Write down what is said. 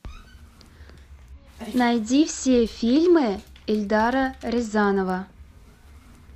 найди все фильмы эльдара рязанова